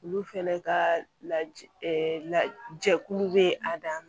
Olu fɛnɛ ka lajɛkulu bɛ a dan ma